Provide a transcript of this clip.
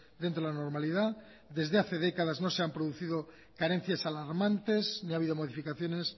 dentro de la normalidad desde hace décadas no se han producido carencias alarmantes ni ha habido modificaciones